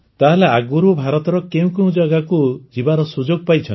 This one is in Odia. ତାହେଲେ ଆଗରୁ ଭାରତର କେଉଁ କେଉଁ ଜାଗାକୁ ଯିବାର ସୁଯୋଗ ପାଇଛନ୍ତି